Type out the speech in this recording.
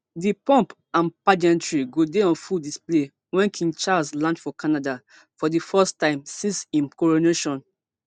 di pomp and pageantry go dey on full display wen king charles land for canada for di first time since im coronation